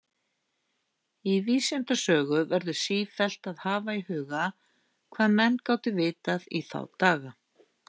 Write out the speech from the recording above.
Í vísindasögu verður sífellt að hafa í huga, hvað menn gátu vitað í þá daga.